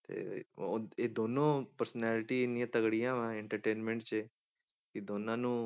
ਤੇ ਉਹ ਇਹ ਦੋਨੋਂ personality ਇੰਨੀਆਂ ਤਕੜੀਆਂ ਵਾਂ entertainment 'ਚ ਕਿ ਦੋਨਾਂ ਨੂੰ,